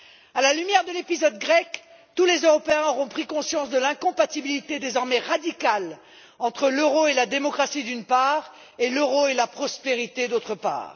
À la lumière de l'épisode grec, tous les Européens auront pris conscience de l'incompatibilité, désormais radicale, entre l'euro et la démocratie, d'une part, et l'euro et la prospérité, d'autre part.